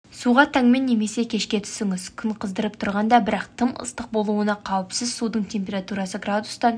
суға таңмен немесе кешке түсіңіз күн қыздырып тұрғанда бірақ тым ыстық болуына қауіпсіз судың температурасы градустан